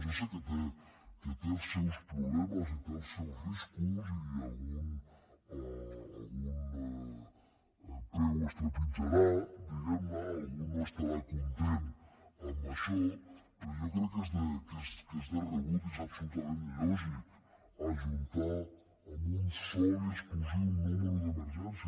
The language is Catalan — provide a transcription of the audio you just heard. jo sé que té els seus problemes i té els seus riscos i algun peu es trepitjarà diguem ne algú no estarà content amb això però jo crec que és de rebut i és absolutament lògic ajuntar en un sol i exclusiu número d’emergència